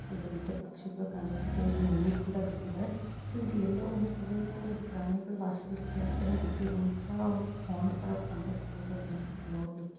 ಹಿಂದೆ ಪಕ್ಷಿಗಳು ಕೂಡ ಕಾಣಿಸ್ತಿದೆ ಇಲ್ಲಿ ನೀರ್ ಕೂಡ ಬಿಟ್ಟಿದೆ. ಇದು ಎಲ್ಲೋ ಒಂದು ಕಡೆ ಪ್ರಾಣಿಗಳು ವಾಸಿಸಲಿಕ್ಕೆ ಬಿಟ್ಟಿರೋ ಅಂತ ಪಾಂಡ್ ತರ ಕಾಣಿಸ್ತಾ ಇದೆ ನೋಡ್ಲಿಕ್ಕೆ.